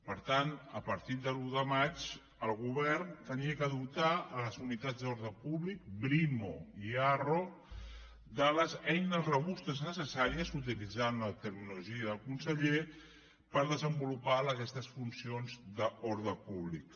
per tant a partir de l’un de maig el govern havia de dotar les unitats d’ordre públic brimo i arro de les eines robustes necessàries utilitzant la terminologia del conseller per desenvolupar aquestes funcions d’ordre públic